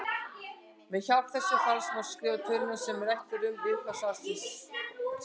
Með hjálp þessa falls má skrifa töluna sem rætt er um í upphafi svarsins sem